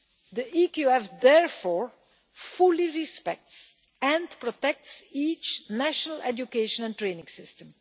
The EQF therefore fully respects and protects each national education and training system.